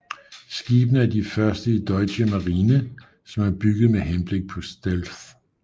Skibene er de første i Deutsche Marine som er bygget med henblik på stealth